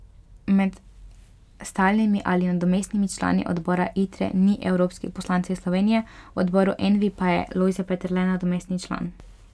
Med stalnimi ali nadomestnimi člani odbora Itre ni evropskih poslancev iz Slovenije, v odboru Envi pa je Lojze Peterle nadomestni član.